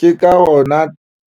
Ke ka hona